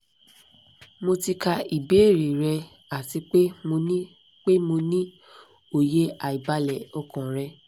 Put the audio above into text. mo ti ka ibeere rẹ ati pe mo ni pe mo ni oye aibale okan rẹ